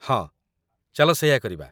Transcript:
ହଁ, ଚାଲ ସେଇଆ କରିବା ।